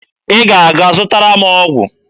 Ị ga-aga zụtara m ọgwụ.